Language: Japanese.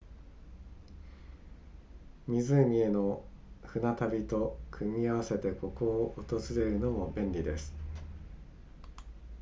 湖への船旅と組み合わせてここを訪れるのも便利です